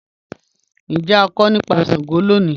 Njẹ a nkọ nipa Sango loni?